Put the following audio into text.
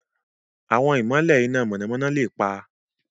Àwọn ìmọ̀lẹ̀ iná mọ̀nàmọ́ná lè pa.